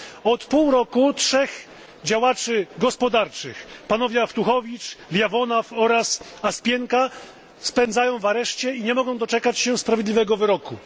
Od pół roku 3 działaczy gospodarczych, panowie Awtuchowicz, Leonow oraz Osipienko, spędzają czas w areszcie i nie mogą doczekać się sprawiedliwego wyroku.